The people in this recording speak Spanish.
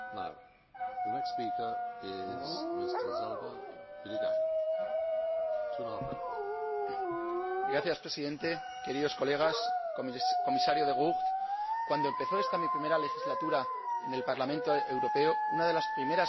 Señor Presidente, queridos colegas, Comisario De Gucht, cuando empezó esta mi primera legislatura en el Parlamento Europeo, una de las primeras cuestiones de las que oí hablar fue, precisamente, el Acuerdo de libre comercio con Corea.